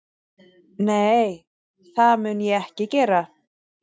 Nei, það mun ég ekki gera